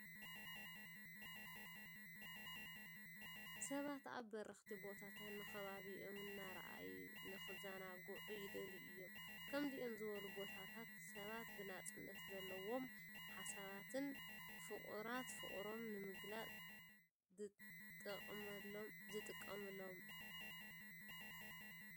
ሰባት ኣብ በረኽቲ ቦታታት ንከባቢኦም እናረኣዩ ንክዘናግኡ ይደልዩ እዮም። ከምዚኦም ዝበሉ ቦታታት ሰባት ብነፃነት ዘለዎም ሓሳባትን ፍቁናት ፍቅሮምን ንምግልላፅ ጥቀምሎም።